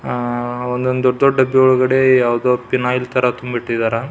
ಆಹ್ಹ್ ಒಂದೊಂದು ದೊಡ್ಡ ಒಳಗಡೆ ಪಿನೋಯ್ಲ್ ತರ ತುಂಬಿ ಇಟ್ಟಿದ್ದರ-